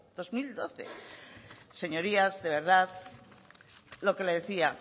dos mil doce señorías de verdad lo que le decía